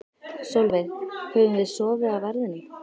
Sólveig: Höfum við sofið á verðinum?